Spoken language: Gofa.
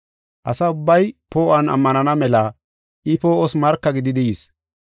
Asa ubbay poo7uwan ammanana mela I poo7os marka gididi yis.